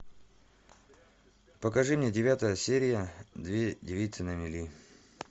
покажи мне девятая серия две девицы на мели